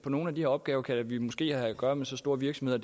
nogle af de opgaver kan vi måske have at gøre med så store virksomheder